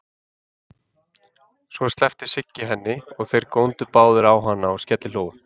Svo sleppti Siggi henni og þeir góndu báðir á hana og skellihlógu.